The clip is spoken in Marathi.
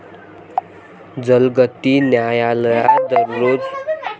जलगती न्यायालयात दररोज याप्रकरणी सुनावणी केली जाईल.